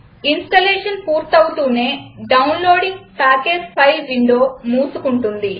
installation పూర్తవుతూనే downloading package file window మూసుకుంటుంది